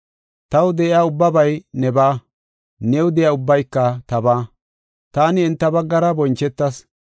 Taw de7iya ubbabay nebaa; new de7iya ubbayka tabaa. Taani enta baggara bonchetas.